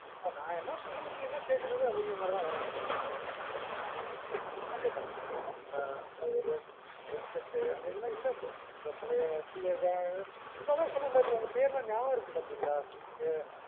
இப்போ நா என்ன சொல்றது நீ என்ன கேக்குறது அப்டிங்குற மாதிரி தான் வர்றாங்க. அந்த மாறி ஆயிட்டாங்க மா. இந்த அந்த அந்த ஒரு respect அந்த இதுலாம் இல்ல இப்போ, அந்த பழைய இப்போ அதான் சொன்னன்ல உங்க பேரு லாம் நியாபகம் இருக்கு பாத்தீங்களா, இது